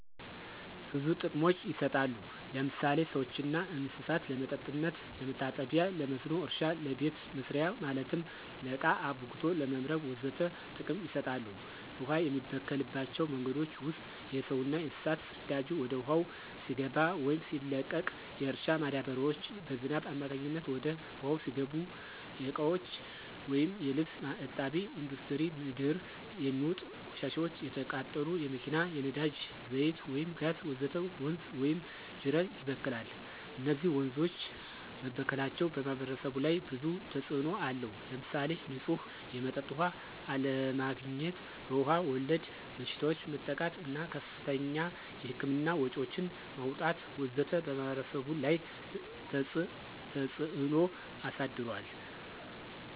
ብዙ ጥቅሞች ይሰጣሉ ለምሳሌ ለሰዎችና ለእንሰሳት ለመጠጥነት፣ ለመታጠቢ ለመስኖ እረሻ ለቤተ መሰሪያ ማለትም ለቃ አብክቶ ለመምረግ ወዘተ ጥቅም ይሰጣሉ። ውሃ የሚበከልባቸው መንገዶች ውስጥ የሰውና የእንስሳት ፅዳጂ ወደ ውሃው ሲገባ ወይም ሲለቀቅ፣ የእርሻ ማዳበሪያዎች በዝናብ አማካኝነት ወደ ውሃው ሲገቡ፣ የእቃዎች ወይም የልብስ እጣቢ፣ እንዱስትሪ ምንድር የሚውጥ ቆሻሻዎች፣ የተቃጠሉ የመኪና የነዳጂ ዛይት ወይም ጋዝ ወዘተ ወንዝ ወይም ጂረት ይበክላል። እነዚህ ወንዞች መበከላቸው በማህበረሰቡ ላይ ብዙ ተጽእኖ አለው። ለምሳሌ ንፁህ የመጠጥ ውሃ አለማግኝት፣ በዉሃ ወለድ በሽታዎች መጠቃት እና ከፍተኛ የህክምና ወጭዎችን ማውጣት ወዘተ በማህበረሰቡ ላይ ተፀ ተጽዕኖ አሳድሯል።